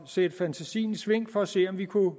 sætte fantasien i sving for at se om vi kunne